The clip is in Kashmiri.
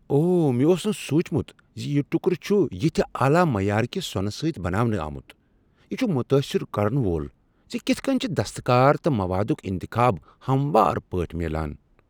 اوہ، مےٚ اوس نہٕ سوچمت ز یہ ٹکرٕ چھ یتِھہ اعلی معیار کہ سونہٕ سۭتۍ بناونہٕ آمت۔ یہ چھ متٲثر کرن وول ز کتھ کٔنۍ چھ دستکٲری تہٕ موادک انتخاب ہموار پٲٹھۍ میلان۔